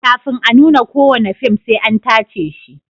Kafin a nuna kowane fim sai an tace shi.